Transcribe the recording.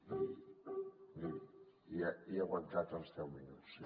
i he aguantat els deu minuts